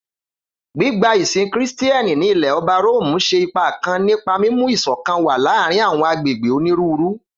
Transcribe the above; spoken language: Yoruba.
Gbigba isin Kristian ni Ilẹ-ọba Romu ṣe ipa kan nipa mimu iṣọkan wa laarin awọn agbegbe oniruuru.